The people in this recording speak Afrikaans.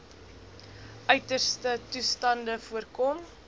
uiterste toestande voorkom